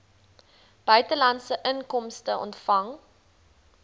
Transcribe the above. buitelandse inkomste ontvang